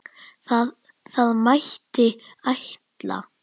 Það mætti ætla.